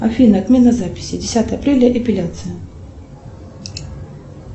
афина отмена записи десятое апреля эпиляция